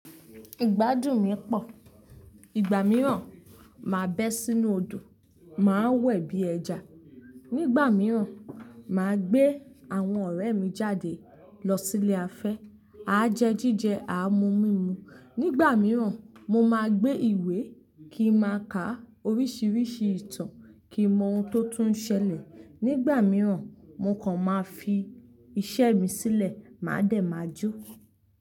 Ìgbádùn mi pọ̀. Ìgbà mìíràn, màá bé sínú odò, màá wẹ̀ bí ẹja. Nígbà mìíràn, màá gbé àwọn ọ̀rẹ́ mi jáde lọ sí ilé afẹ́. A jẹ jíjẹ, a mu mímu. Nígbà mìíràn, mo máa gbé ìwé kí n máa ka oríṣiríṣi ìtàn kí mọ ohun tó tún ṣẹlẹ̀. Nígbà mìíràn, mo kàn máa fi iṣẹ́ mi sílẹ̀, màá dẹ̀ máa jó.